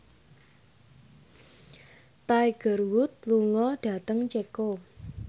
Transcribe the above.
Tiger Wood lunga dhateng Ceko